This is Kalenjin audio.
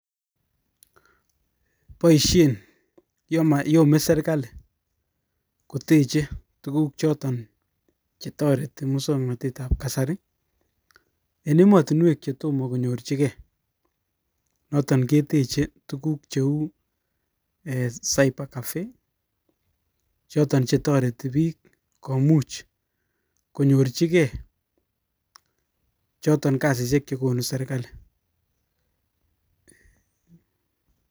Boishien anan yomee serkalii koteche tuguuk chotoretii musoknotetab kasari, en emotinwek che tom konyorchigei noton keteche tuguuk cheu cyber caffee, choton chetoretii biik komuch konyorchigei chiton kasisiek chekonu serkalii